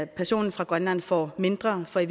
personen fra grønland får mindre for i